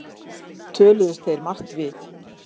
Töluðust þeir margt við